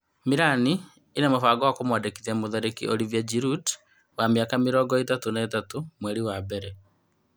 Mĩrani ĩna mũbango wa kũmwandĩkithia mũtharĩkĩri Olivia Ngirundi wa mĩaka mĩrongo-ĩtatũ na ĩtatu mweri wa mbere.